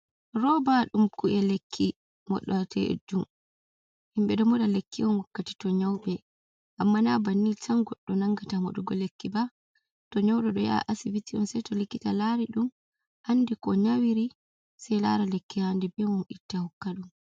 Roba ɗum kuje lekki moɗateɗum, himɓe do moɗa lekki on wakkati to nyauɓe. Amma na banni tan goɗɗo nangata maɗugo lekki ba to nyaude ɗo yaha asibiti on sei to lekkita lari ɗum andi ko nyawiri sei lara lekki haandi be mum itta hokka ɗum.